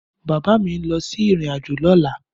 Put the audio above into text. Bàbá mi ń lọ sí ìrìnàjò lọ́la.